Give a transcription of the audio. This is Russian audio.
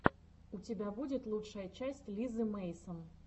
у тебя будет лучшая часть лизы мэйсон